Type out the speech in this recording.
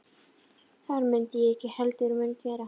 Það mundi ég ekki heldur gera